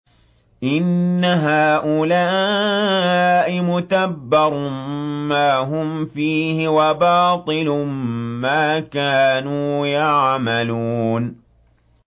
إِنَّ هَٰؤُلَاءِ مُتَبَّرٌ مَّا هُمْ فِيهِ وَبَاطِلٌ مَّا كَانُوا يَعْمَلُونَ